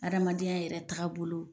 Adamadenya yɛrɛ tagabolo